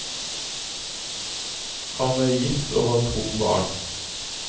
Han er gift og har to barn.